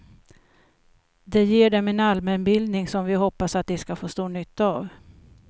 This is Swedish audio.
Det ger dem en allmänbildning som vi hoppas de ska få stor nytta av.